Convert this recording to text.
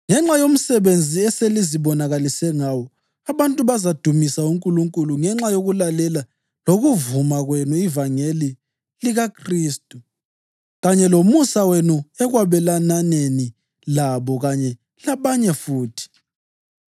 Ngenxa yomsebenzi eselizibonakalise ngawo, abantu bazamdumisa uNkulunkulu ngenxa yokulalela lokuvuma kwenu ivangeli likaKhristu, kanye lomusa wenu ekwabelananeni labo kanye labanye futhi.